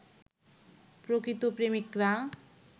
প্রকৃত প্রেমিকরা